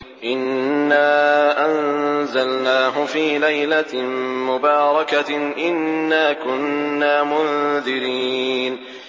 إِنَّا أَنزَلْنَاهُ فِي لَيْلَةٍ مُّبَارَكَةٍ ۚ إِنَّا كُنَّا مُنذِرِينَ